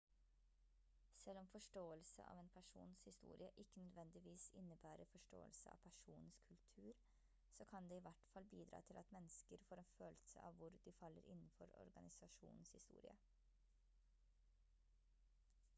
selv om forståelse av en persons historie ikke nødvendigvis innebærer forståelse av personens kultur så kan det i hvert fall bidra til at mennesker får en følelse av hvor de faller innenfor organisasjonens historie